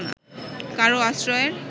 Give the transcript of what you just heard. কারও আশ্রয়ের